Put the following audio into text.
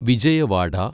Vijayawada